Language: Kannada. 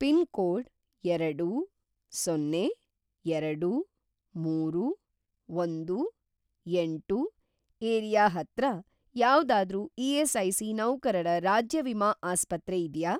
ಪಿನ್‌ಕೋಡ್‌ ಎರಡು, ಸೊನ್ನೆ, ಎರಡು, ಮೂರು, ಒಂದು, ಎಂಟು ಏರಿಯಾ ಹತ್ರ ಯಾವ್ದಾದ್ರೂ ಇ.ಎಸ್.ಐ.ಸಿ. ನೌಕರರ ರಾಜ್ಯ ವಿಮಾ ಆಸ್ಪತ್ರೆ ಇದ್ಯಾ?